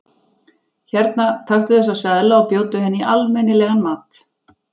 Hérna, taktu þessa seðla og bjóddu henni í almenni- legan mat.